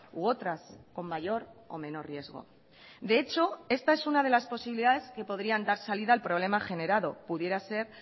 u otras con mayor o menor riesgo de hecho esta es una de las posibilidades que podrían dar salida al problema generado pudiera ser